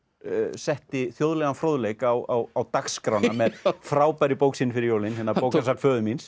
setti þjóðlegan fróðleik á á dagskrána með frábærri bók sinni fyrir jólin bókasafn föður míns